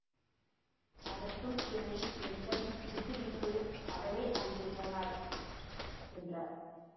அதற்குள் இவனை என்னிடம் விட்டுவிட்டு அவளே அங்கே போனாள் என்றார்